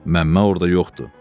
Məmmə orda yoxdur.